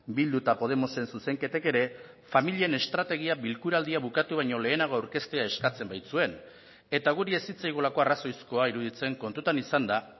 bildu eta podemosen zuzenketek ere familien estrategia bilkuraldia bukatu baino lehenago aurkeztea eskatzen baitzuen eta guri ez zitzaigulako arrazoizkoa iruditzen kontutan izanda